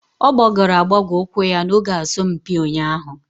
Ọ gbagọrọ agbagọ ụkwụ ya n'oge asọmpi ụnyahụ.